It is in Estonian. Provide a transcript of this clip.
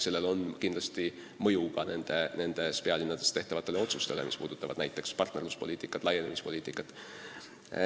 Sellel on kindlasti mõju ka nendes pealinnades tehtavatele otsustele, mis puudutavad näiteks partnerluspoliitikat ja laienemispoliitikat.